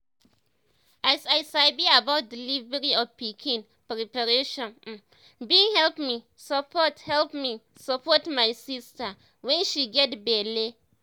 as i sabi about delivery of pikin preparation e um bin help me support help me support my sister when she get belle